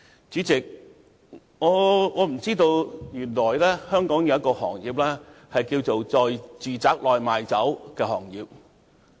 主席，我不知道原來香港有"在住宅內賣酒"這麼一個行業。